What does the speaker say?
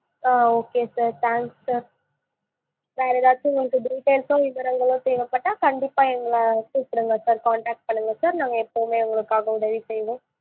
ஆ okay sir thanks sir வேற ஏதாச்சும் உங்களுக்கு details சோ விவரங்களோ தேவைப்பட்டா கண்டிப்பா எங்கள கூப்பிடுங்க sir contact பண்ணுங்க sir நாங்க எப்பவுமே உங்களுக்காக உதவி பண்ணுவோம்.